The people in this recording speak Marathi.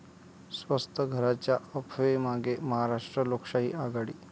स्वस्त घरांच्या अफवेमागे महाराष्ट्र लोकशाही आघाडी